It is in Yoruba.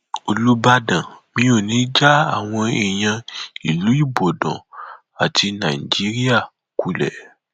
olùbàdàn mi ò ní í já àwọn èèyàn ìlú ibodàn àti nàìjíríà kulẹ